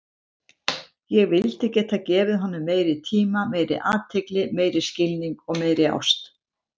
Ég vildi geta gefið honum meiri tíma, meiri athygli, meiri skilning og meiri ást.